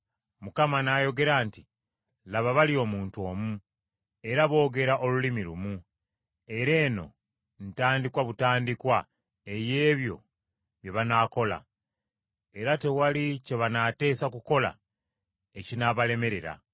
Mukama n’ayogera nti, “Laba, bali omuntu omu, era boogera olulimi lumu! Era eno ntandikwa butandikwa ey’ebyo bye banaakola; era tewali kye banaateesa kukola ekinaabalemerera.